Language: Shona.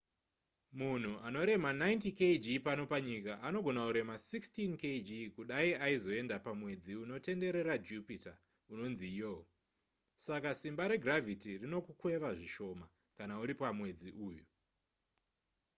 munhu anorema 90kg pano panyika anogona kurema 16kg kudai aizoenda pamwedzi unotenderera jupita unonzi lo saka simba regravity rinokukweva zvishoma kana uri pamwedzi uyu